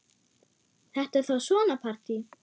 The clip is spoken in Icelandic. Þetta er þá svona partí!